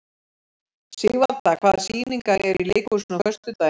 Sigvalda, hvaða sýningar eru í leikhúsinu á föstudaginn?